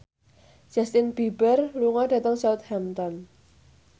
Justin Beiber lunga dhateng Southampton